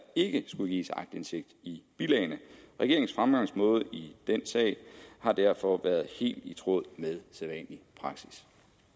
ikke skulle gives aktindsigt i bilagene regeringens fremgangsmåde i den sag har derfor været helt i tråd med sædvanlig praksis